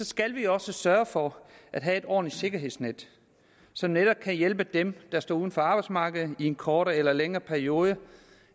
skal vi også sørge for at have et ordentligt sikkerhedsnet som netop kan hjælpe dem der står uden for arbejdsmarkedet i en kortere eller længere periode